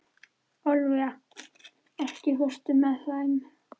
Ólafía, ekki fórstu með þeim?